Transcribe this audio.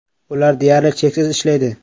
Ular “deyarli cheksiz” ishlaydi.